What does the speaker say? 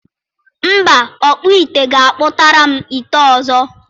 Mba, ọkpụ ite ga-akpụtara m ite ọzọ.